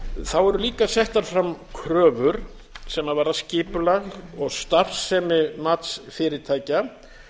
þá eru líka settar fram kröfur sem varða skipulag og starfsemi matsfyrirtækja